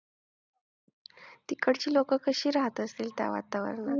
तिकडची लोकं कशी राहत असेल त्या वातावरणात?